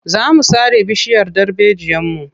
Za mu sare bishiyar darbejiyarmu.